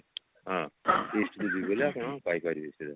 ହଁ east କୁ ଯିବେ ହେଲେ ଆପଣ ପାଇ ପାରିବେ ସେଇ ଜାଗା